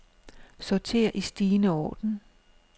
Sorter i stigende orden.